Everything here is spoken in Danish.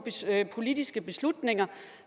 politiske beslutninger